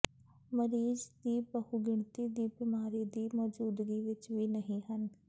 ਮਰੀਜ਼ ਦੀ ਬਹੁਗਿਣਤੀ ਦੀ ਬਿਮਾਰੀ ਦੀ ਮੌਜੂਦਗੀ ਵਿੱਚ ਵੀ ਨਹੀ ਹਨ